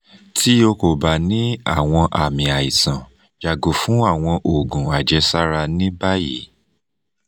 ti o ko ba ni awọn aami aisan yago fun awọn oogun ajesara ni bayi